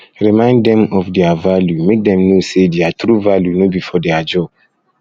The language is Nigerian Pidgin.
remind dem of dem of their value make dem know say their true value no be for their job